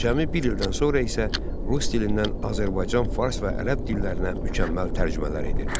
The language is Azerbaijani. Cəmi bir ildən sonra isə rus dilindən Azərbaycan, fars və ərəb dillərinə mükəmməl tərcümələr edir.